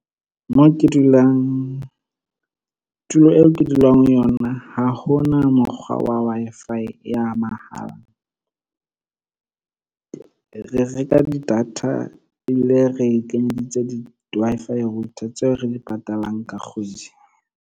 Tulo eo ke dulang ho yona ha hona mokgwa wa Wi-Fi ya mahala. Re reka di-data ebile re kenyeditse di-Wi-Fi router tseo re di patalang ka kgwedi.